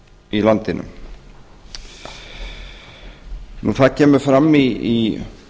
í landinu það kemur fram í